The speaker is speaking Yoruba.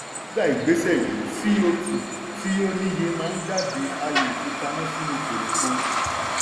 nígbà ìgbésẹ̀ yìí co2 tí ó níye máa ń jáde a lè fi pamọ́ sínú kòròfo.